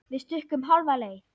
Við stukkum hálfa leið.